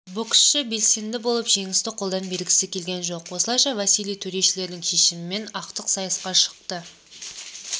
боксшы белсенді болып жеңісті қолдан бергісі келген жоқ осылайша василий төрешілердің шешімімен ақтық сайысқа шықты